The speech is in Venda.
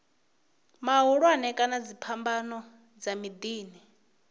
mahulwane kana dziphambano dza miḓini